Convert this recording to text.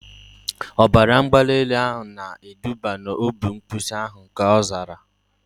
Ọbara mgbali elu na eduba na obi mbuso agha, ka ọ zara